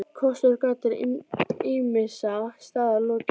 KOSTIR OG GALLAR ÝMISSA STAÐA LOKIÐ